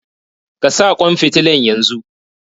Ka sa ƙwan fitilan yanzu!